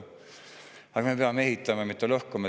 Aga me peame ehitama, mitte lõhkuma.